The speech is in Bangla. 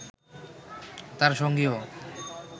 তার সঙ্গীও